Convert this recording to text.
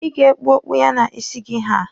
Ị ga-ekpu okpu ya na isi gị ha.